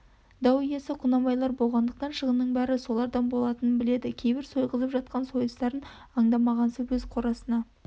дау иесі құнанбайлар болғандықтан шығынның бәрі солардан болатынын біледі кейбір сойғызып жатқан сойыстарын аңдамағансып өз қорасына